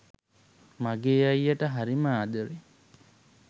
මගෙ අයියට හරීම ආදරෙයි